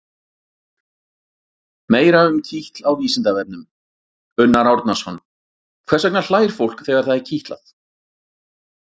Meira um kitl á Vísindavefnum: Unnar Árnason: Hvers vegna hlær fólk þegar það er kitlað?